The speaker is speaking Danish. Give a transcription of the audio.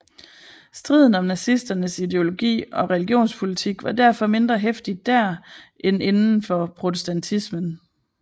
Striden om nazisternes ideologi og religionspolitik var derfor mindre heftig dér end inden for protestantismen